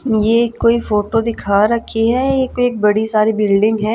ये कोई फोटो दिखा रखी है एक बड़ी सारी बिल्डिंग है।